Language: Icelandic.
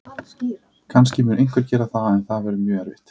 Kannski mun einhver gera það en það verður mjög erfitt.